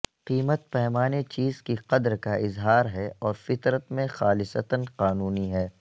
قیمت پیمانے چیز کی قدر کا اظہار ہے اور فطرت میں خالصتا قانونی ہے